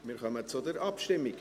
Wir kommen zur Abstimmung.